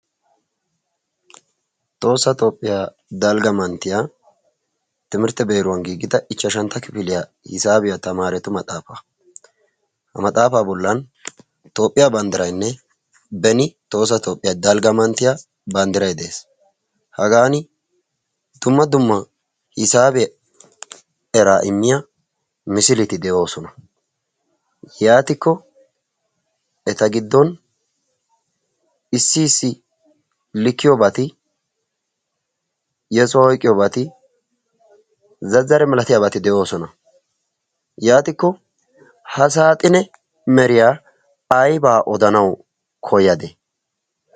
Tohoosa toophphiyaa dalgga manttiya timirtte beeruwan giigida ichchashantta kifiliyaa hisaabiyaa tamaaretu maxaafaa ha maxaafaa bollan toophphiyaa banddirainne beni toosa toophphiyaa dalgga manttiya banddirai de7ees. hagan dumma dumma hisaabiyaa eraa immiya misiiliti de7oosona yaatikko eta giddon issiisi likiyoobaati yesuwaa oiqiyoobaati zazare milatiyaabaati de7oosona. yaatikko ha saaxine meriyaa aibaa odanawu koyade?